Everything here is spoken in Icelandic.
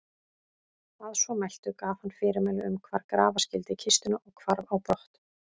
Að svo mæltu gaf hann fyrirmæli um hvar grafa skyldi kistuna og hvarf á brott.